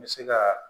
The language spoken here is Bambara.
N bɛ se ka